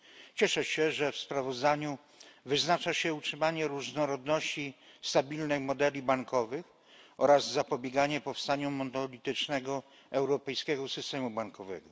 Cieszę się, że w sprawozdaniu wyznacza się utrzymanie różnorodności stabilnej modeli bankowych oraz zapobieganie powstaniu monolitycznego europejskiego systemu bankowego.